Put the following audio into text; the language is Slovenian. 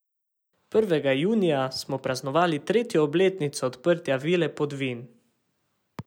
Prvega junija smo praznovali tretjo obletnico odprtja Vile Podvin.